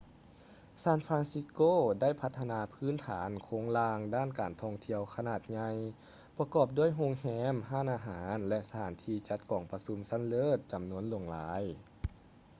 ຊານຟຼານຊິດສ໌ໂກ ໄດ້ພັດທະນາພື້ນຖານໂຄງລ່າງດ້ານການທ່ອງທ່ຽວຂະໜາດໃຫຍ່ ປະກອບດ້ວຍໂຮງແຮມ ຮ້ານອາຫານ ແລະ ສະຖານທີ່ຈັດກອງປະຊຸມຊັ້ນເລີດ ຈຳນວນຫຼວງຫຼາຍ